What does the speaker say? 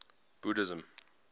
buddhism